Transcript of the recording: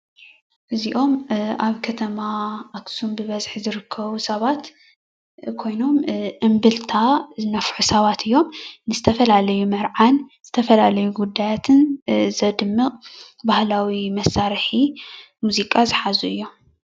እዚኦም ኣብ ከተማ ኣክሱም ብበዝሒ ዝርከቡ ሰባት ኮይኖም እምብልታ ዝነፍሑ ሰባት እዮም፡፡ ንዝተፈላለዩ መርዓን ዝተፈላለዩ ጉዳያትን ዘድምቕ ባህላዊ መሳርሒ ሙዚቃ ዝሓዙ እዮም፡፡